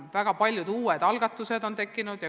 Väga paljud uued algatused on tekkinud.